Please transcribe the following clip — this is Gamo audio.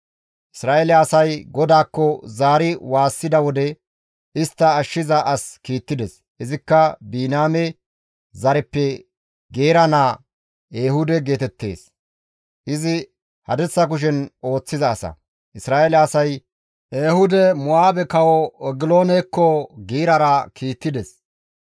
Isra7eele asay GODAAKKO zaari waassida wode, istta ashshiza as kiittides; izikka Biniyaame zareppe Geera naa Ehuude geetettees; izi hadirsa kushen ooththiza asa; Isra7eele asay Ehuude Mo7aabe kawo Egiloonekko giirara kiittides.